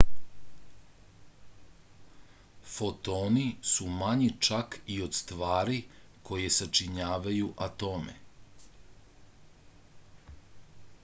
fotoni su manji čak i od stvari koje sačinjavaju atome